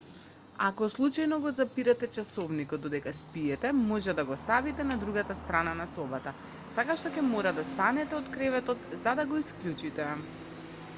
ако случајно го запирате часовникот додека спиете може да го ставите на другата страна на собата така што ќе мора да станете од креветот за да го исклучите